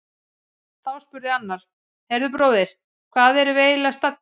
Þá spurði annar: Heyrðu bróðir, hvar erum við eiginlega staddir?